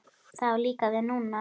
Það á líka við núna.